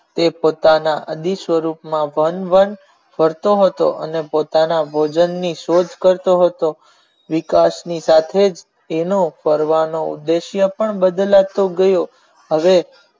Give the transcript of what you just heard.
એ પોતાના અભી સ્વરૂપ માં ધન ધન કરતો હતો અને પોતાના ભોજન ની શોધ કરતો હતો વિકાસ ની સાથે એનો ફરવાનો ઉપદ્રશય પણ બદલ તો ગયો અને